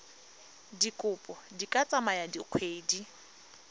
dikopo di ka tsaya dikgwedi